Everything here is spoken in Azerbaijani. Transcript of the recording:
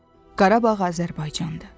Qarabağ Azərbaycandır.